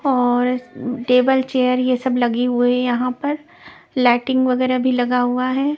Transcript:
और table chair ये सब लगी हुए है यहां पर लाइटिंग वगैरह भी लगा हुआ है.